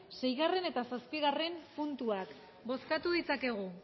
seigarrena eta zazpigarrena puntuak bozkatu ditzakegu